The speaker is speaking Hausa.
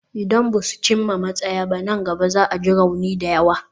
Idan ba su cimma matsaya nan ba da jimawa ba, za a ji rauni da yawa.